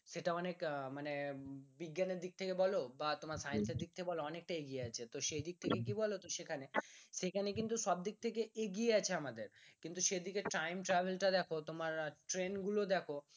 সেটা অনেক আহ মানে বিজ্ঞানের দিক থেকে বলো বা তোমার science এর দিক থেকে বলো অনেকটা এগিয়ে আছে তো সেই দিক থেকে কি বলতো সেখানে, সেখানে কিন্তু সব দিক থেকে এগিয়ে আছে আমাদের কিন্তু সেদিকে time travel টা দেখো তোমার ট্রেন গুলো দেখো